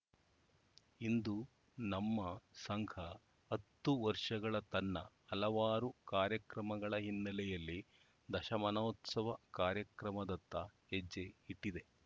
ಇಂದು ನಮ್ಮ ಸಂಘ ಹತ್ತು ವರ್ಷಗಳ ತನ್ನ ಹಲವಾರು ಕಾರ್ಯಕ್ರಮಗಳ ಹಿನ್ನೆಲೆಯಲ್ಲಿ ದಶಮಾನೋತ್ಸವ ಕಾರ್ಯಕ್ರಮದತ್ತ ಹೆಜ್ಜೆ ಇಟ್ಟಿದೆ